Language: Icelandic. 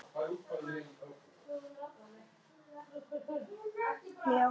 Maður verður að vita hvernig maður á að snúa sér.